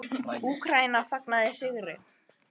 Úkraína fagnaði sigri